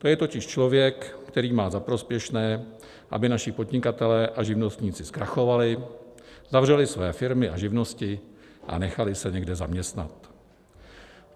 To je totiž člověk, který má za prospěšné, aby naši podnikatelé a živnostníci zkrachovali, zavřeli své firmy a živnosti a nechali se někde zaměstnat.